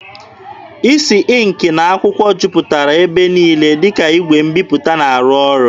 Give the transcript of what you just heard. Isi ịnkị na akwụkwọ jupụtara ebe niile, dịka igwe mbiputa na-arụ ọrụ.